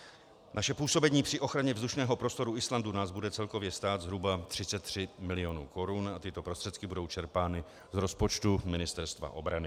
Naše působení při ochraně vzdušného prostoru Islandu nás bude celkově stát zhruba 33 mil. korun a tyto prostředky budou čerpány z rozpočtu Ministerstva obrany.